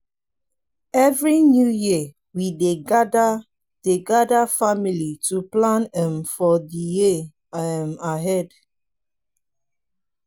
every new year we dey gather dey gather family to plan um for the year um ahead.